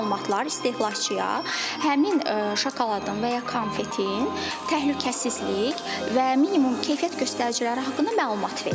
Bu məlumatlar istehlakçıya həmin şokoladın və ya konfetin təhlükəsizlik və minimum keyfiyyət göstəriciləri haqqında məlumat verir.